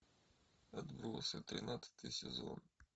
отбросы тринадцатый сезон